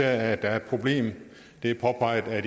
er et problem det er påpeget